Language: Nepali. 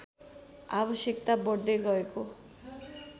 आवश्यकता बढ्दै गएको